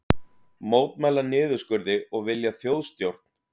Mótmæla niðurskurði og vilja þjóðstjórn